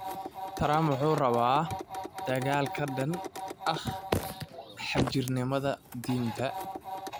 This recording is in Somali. Trump wuxuu rabaa dagaal ka dhan ah xagjirnimada diinta